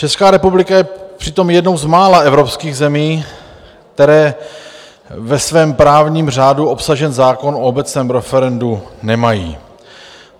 Česká republika je přitom jednou z mála evropských zemí, které ve svém právním řádu obsažen zákon o obecném referendu nemají.